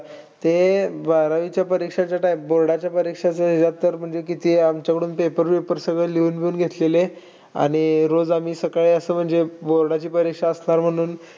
ते बारावीच्या परीक्षेचं, type board च्या परीक्षेचं ह्याच्यात तर किती आमच्याकडून paper बिपर सगळं लिहून-बिहून घेतलेले. आणि अह रोज आम्ही सकाळी असं म्हणजे board ची परीक्षा असणार म्हणून,